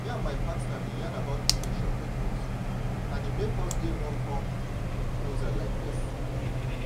me and my partner been yan about protection methods and e make us dey more come closer like this.